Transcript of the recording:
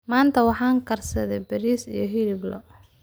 Maanta waxaan karsaday bariis iyo hilib lo'aad.